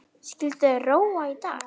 Skyldu þeir róa í dag?